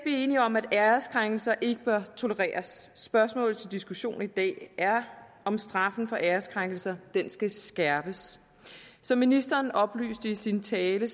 enige om at æreskrænkelser ikke bør tolereres spørgsmålet til diskussion i dag er om straffen for æreskrænkelser skal skærpes som ministeren oplyste i sin tale